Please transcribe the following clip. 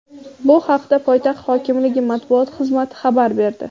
Bu haqda poytaxt hokimligi matbuot xizmati xabar berdi.